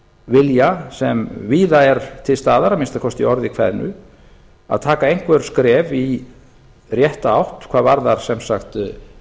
vilja sem er víða er til staðar að minnsta kosti í orði kveðnu að taka einhver skref í rétta átt hvað varðar sem sagt friðlýsingu